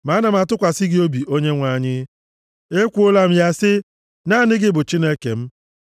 Ma ana m atụkwasị gị obi Onyenwe anyị. Ekwuola m ya sị, “Naanị gị bụ Chineke m.”